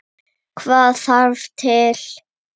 Hvað þarf til?